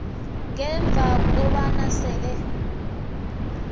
ngemva kobana sele